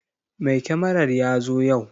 Mai kyamarar ya zo yau.